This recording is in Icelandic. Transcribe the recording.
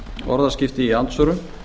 orðaskipti í andsvörum